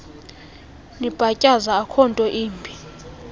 nibhatyaza akhonto imbi